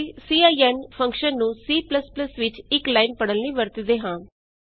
ਅਸੀਂ ਸਿਨ ਜੀਟੀਜੀਟੀ ਫੰਕਸ਼ਨ ਨੂੰ C ਵਿਚ ਇਕ ਲਾਈਨ ਪੜ੍ਹਨ ਲਈ ਵਰਤਦੇ ਕਰਦੇ ਹਾਂ